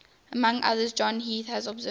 among others john heath has observed